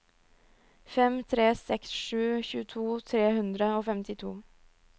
fem tre seks sju tjueto tre hundre og femtito